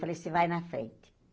Falei, você vai na frente.